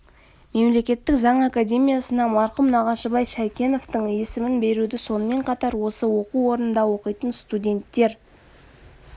мемлекеттік заң академиясына марқұм нағашыбай шәйкеновтың есімін беруді сонымен қатар осы оқу орнында оқитын студенттер